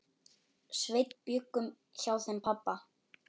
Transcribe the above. Sveinn bjuggum hjá þeim pabba.